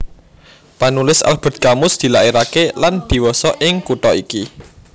Panulis Albert Camus dilairaké lan dhiwasa ing kutha iki